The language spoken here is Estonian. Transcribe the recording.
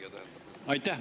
Aitäh!